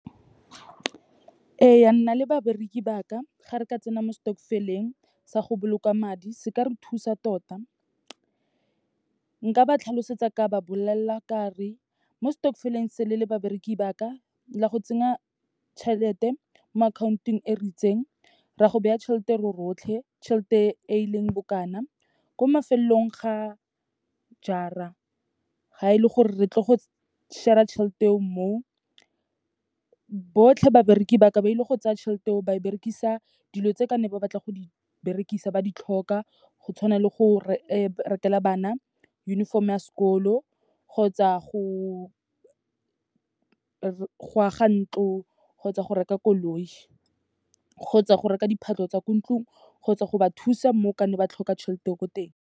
Eya nna le babereki ba ka, ga re ka tsena mo stokvel-eng, sa go boloka madi, se ka re thusa tota. Nka ba tlhalosetsa ka ba bolelela ka re, mo stokvel-eng se, le le babereki ba ka, la go tsenya tšhelete mo akhaontong e ritseng, ra go beya tšhelete rorotlhe, tšhelete e leng bokana. Ko mafelong ga jaar-a, ga e le gore re tlo go share-a tšhelete eo mo, botlhe babereki ba ka, ba ile go tsaya tšhelete eo ba e berekisa dilo tse ka ne ba batla go di berekisa, ba di tlhoka. Go tshwana le go rekela bana uniform-o ya sekolo, kgotsa go aga ntlo, kgotsa go reka koloi, kgotsa go reka diphahlo tsa ko ntlong, kgotsa go ba thusa mo ka ne ba tlhoka tšhelete eo ko teng.